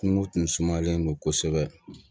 Kungo tun sumalen don kosɛbɛ